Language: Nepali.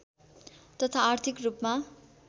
तथा आर्थिक रूपमा